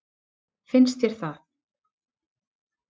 Finnst þér það?